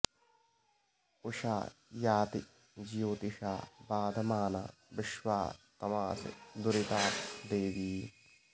उ॒षा या॑ति॒ ज्योति॑षा॒ बाध॑माना॒ विश्वा॒ तमां॑सि दुरि॒ताप॑ दे॒वी